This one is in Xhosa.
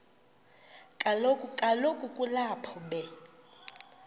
kaloku kulapho be